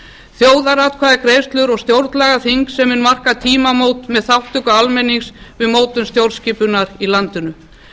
þjóðaratkvæðagreiðslur og stjórnlagaþing sem mun marka tímamót með þátttöku almennings við mótun stjórnskipunar í landinu